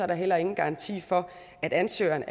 der heller ingen garanti for at ansøgeren